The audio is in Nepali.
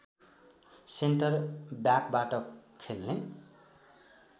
सेन्टर ब्याकबाट खेल्ने